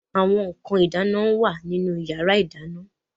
Àwọn nǹkan ìdáná ń wà nínú yàrá ìdáná.